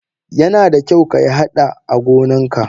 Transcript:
Yanada kyau kayi hada agonan ka.